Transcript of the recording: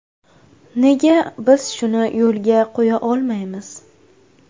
Nega biz shuni yo‘lga qo‘ya olmaymiz?